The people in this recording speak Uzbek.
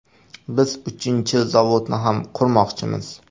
Biz uchinchi zavodni ham qurmoqchimiz.